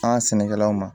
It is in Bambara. An ka sɛnɛkɛlaw ma